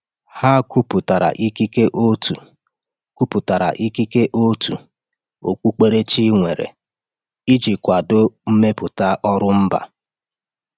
Ha kwupụtara ikike òtù kwupụtara ikike òtù okpukperechi nwere iji kwado mmepụta ọrụ mba.